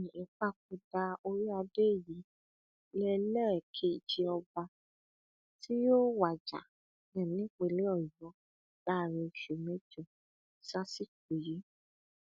um ìpapòdà orí adé yìí lélẹkẹjẹ ọba tí yóò wájà um nípìnlẹ ọyọ láàrin oṣù mẹjọ sásìkò yìí